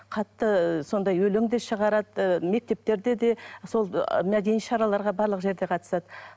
қатты сондай өлең де шығарады ы мектептерде де сол ы мәдени шараларға барлық жерде қатысады